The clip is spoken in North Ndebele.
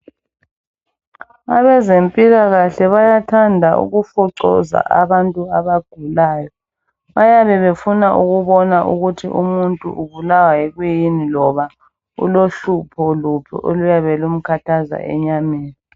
Abezempilakahle bayathanda ukufocoza abantu abagulayo .Bayabe befuna ukubona ukuthi umuntu ubulawa yikuyini loba ulohlupho luphi oluyabe lumkhathaza enyameni.